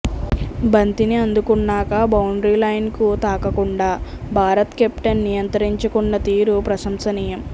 బంతిని అందుకున్నాక బౌండరీ లైన్కు తాకకుండా భారత కెప్టెన్ నియంత్రించుకున్న తీరు ప్రశంసనీయం